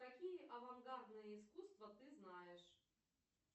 какие авангардные искусства ты знаешь